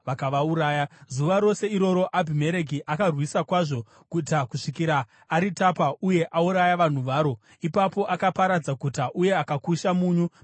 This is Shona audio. Zuva rose iroro, Abhimereki akarwisa kwazvo guta kusvikira aritapa uye auraya vanhu varo. Ipapo akaparadza guta uye akakusha munyu pamusoro paro.